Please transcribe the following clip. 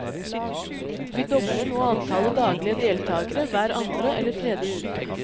Vi dobler nå antallet daglige deltagere hver andre eller tredje uke.